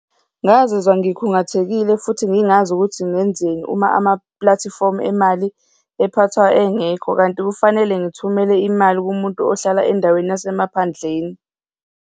Ngazizwa ngikhungathekile futhi ngingazi ukuthi ngenzeni uma amapulatifomu emali ephathwa engekho, kanti kufanele ngithumele imali kumuntu ohlala endaweni yasemaphandleni.